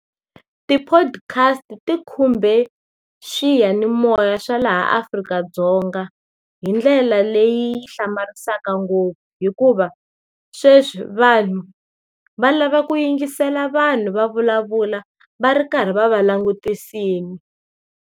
Ti-podcast ti khumbe swiyanimoya swa laha Afrika-Dzonga hi ndlela leyi hlamarisaka ngopfu. Hikuva, sweswi vanhu, va lava ku yingisela vanhu va vulavula va ri karhi va va langutisini.